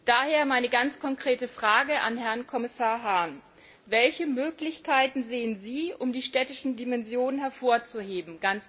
Daher meine ganz konkrete Frage an Herrn Kommissar Hahn Welche Möglichkeiten sehen Sie, um die städtische Dimension hervorzuheben?